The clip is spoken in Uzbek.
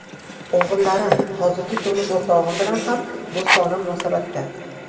O‘g‘illarim hozirgi turmush o‘rtog‘im bilan ham do‘stona munosabatda.